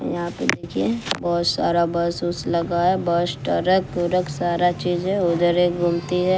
यहां पे मुझे बहोत सारा बस वस लगा है बस ट्रक वरक सारा चीजें उधर एक गुमती है।